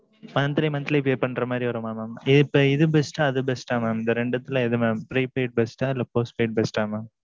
monthly monthly pay பன்ற மாதிரி வருமா mam. அப்போ இது best அ இல்ல அது best அ mam இந்த ரெண்டுத்ல எது mam prepaid best அ இல்ல postpaid best அ mam